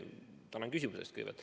Kõigepealt tänan küsimuse eest!